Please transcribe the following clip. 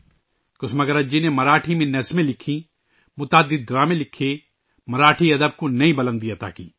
کسوماگرج جی نے مراٹھی میں نظمیں لکھیں، بہت سے ڈرامے لکھے، مراٹھی ادب کو نئی بلندیاں دیں